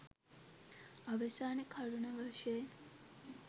අවසාන කරුණ වශයෙන්